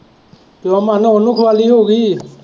ਚੱਲੋ ਮਨ ਉਹਨੂੰ ਖਵਾ ਲਈ ਹੋਊਗੀ